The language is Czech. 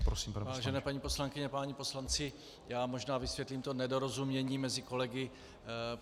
Vážené paní poslankyně, páni poslanci, já možná vysvětlím to nedorozumění mezi kolegy.